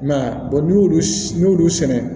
I m'a ye n'i y'olu n'i y'olu sɛgɛn